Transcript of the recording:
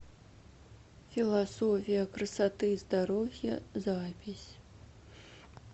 философия красоты и здоровья запись